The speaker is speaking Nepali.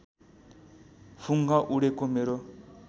फुङ्ग उडेको मेरो